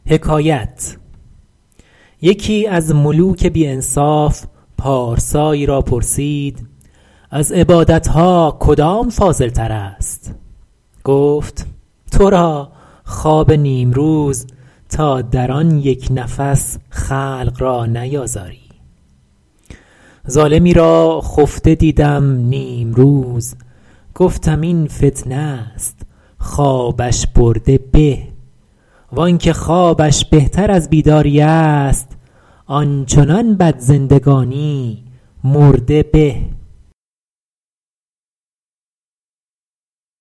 یکی از ملوک بی انصاف پارسایی را پرسید از عبادت ها کدام فاضل تر است گفت تو را خواب نیمروز تا در آن یک نفس خلق را نیازاری ظالمی را خفته دیدم نیمروز گفتم این فتنه است خوابش برده به وآنکه خوابش بهتر از بیداری است آن چنان بد زندگانی مرده به